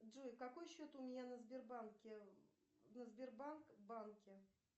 джой какой счет у меня на сбербанке на сбербанк банке